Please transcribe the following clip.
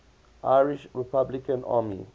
irish republican army